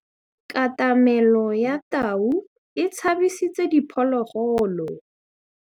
Katamêlô ya tau e tshabisitse diphôlôgôlô.